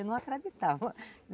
Eu não acreditava.